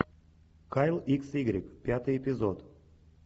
кайл икс игрек пятый эпизод